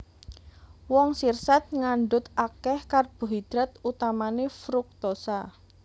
Woh sirsat ngandhut akèh karbohidrat utamané fruktosa